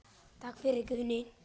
Takk fyrir, Guðni.